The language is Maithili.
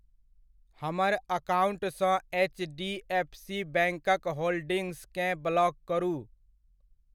हमर अकाउंटसँ एच डी एफ सी बैङ्क'क होल्डिंग्स केँ ब्लॉक करू।